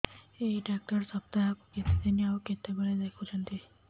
ଏଇ ଡ଼ାକ୍ତର ସପ୍ତାହକୁ କେତେଦିନ ଆଉ କେତେବେଳେ ଦେଖୁଛନ୍ତି